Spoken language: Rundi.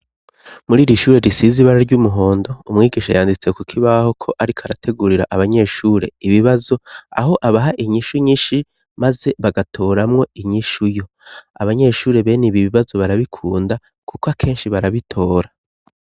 Muri iri shuri risize ibara ry'umuhondo umwigisha yanditse ku kibaho ko ariko arategurira abanyeshuri ibibazo aho abaha inyishu nyinshi maze bagatoramwo inyishu yo abanyeshuri bene ibi bibazo barabikunda kuko akenshi barabitora.